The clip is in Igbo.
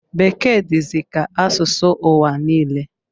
Bekee dizi ka asụsụ ụwa niile